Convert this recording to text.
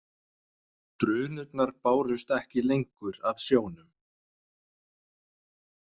Drunurnar bárust ekki lengur af sjónum.